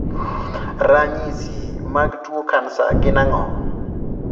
. Ranyisi mag tuo kansa gin ang'o?